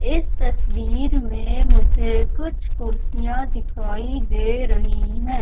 इस तस्वीर में मुझे कुछ कुर्सियां दिखाई दे रही है।